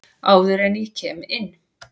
Áður en að ég kem inn.